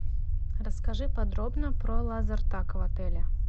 расскажи подробно про лазертаг в отеле